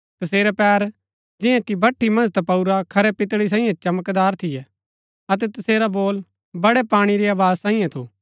तसेरै पैर जियां कि भठी मन्ज तपाऊरा खरै पितळी सांईये चमकदार थियै अतै तसेरा बोल बडै पाणी री आवाज सांईये थू